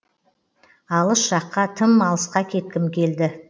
алыс жаққа тым алысқа кеткім келді